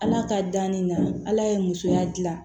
Ala ka danni na ala ye musoya gilan